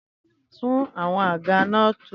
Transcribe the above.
Tún àwọn àga náà tò!